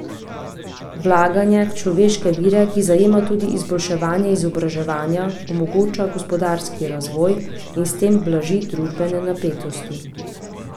Vlaganje v človeške vire, ki zajema tudi izboljšave izobraževanja, omogoča gospodarski razvoj in s tem blaži družbene napetosti.